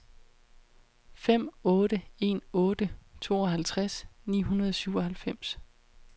fem otte en otte tooghalvtreds ni hundrede og syvoghalvfems